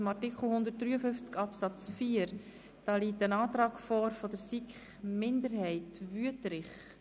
Zu Artikel 153 Absatz 4 liegt ein Antrag der SiK-Minderheit vor.